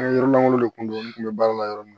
An ka yɔrɔ langolo de kun don n kun bɛ baara la yɔrɔ min na